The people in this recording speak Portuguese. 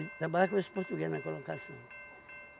E trabalhava com esse português na colocação.